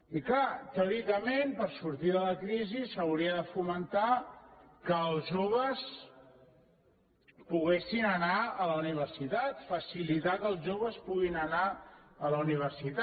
i és clar teòricament per sortir de la crisi s’hauria de fomentar que els joves poguessin anar a la universitat facilitar que els joves puguin anar a la universitat